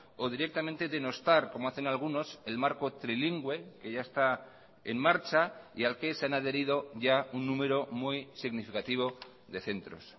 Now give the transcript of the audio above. o directamente denostar como hacen algunos el marco trilingüe que ya está en marcha y al que se han adherido ya un número muy significativo de centros